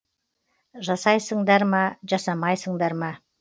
жасайсыңдар ма жасамайсыңдар ма